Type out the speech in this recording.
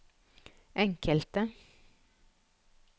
enkelte